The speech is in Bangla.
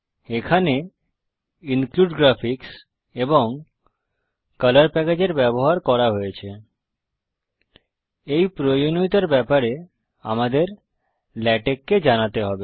এখানে ইনক্লুডগ্রাফিক্স এবং কলর প্যাকেজ এর ব্যবহার করা হয়েছে এই প্রয়োজনীয়তার ব্যাপারে আমাদের লেটেক্স কে জানাতে হবে